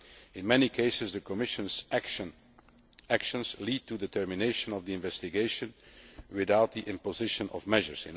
WTO. In many cases the Commission's actions lead to the termination of the investigation without the imposition of measures.